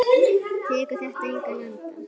Tekur þetta engan enda?